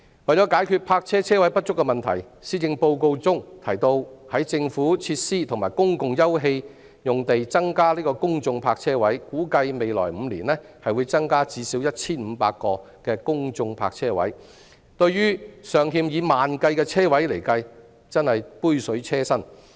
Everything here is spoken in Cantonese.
為解決泊車車位不足的問題，施政報告中提到會在政府設施和公共休憩用地增加公眾泊車位，估計未來5年會增加最少 1,500 個公眾泊車位，但對於尚欠以萬計的車位而言真是杯水車薪。